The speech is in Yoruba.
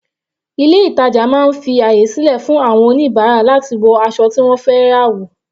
Ilé ìtàjà máa ń fi àyè sílẹ̀ fún àwọn oníbàárà láti wọ aṣọ tí wọ́n fẹ́ rà wò.